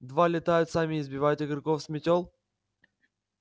два летают сами и сбивают игроков с мётел